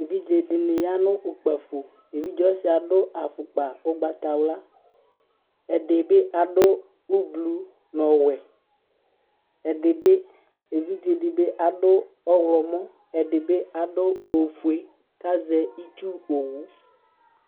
Evidze dɩnɩ ya nʋ ukpǝfo, evidze ɔsɩ adʋ afʋkpa ʋgbatawla, ɛdɩ bɩ adʋ ʋblʋ nʋ ɔwɛ, evidze ɛdɩ bɩ adʋ ɔɣlɔmɔ, ɛdɩ bɩ adʋ ofue, kʋ azɛ itsu owu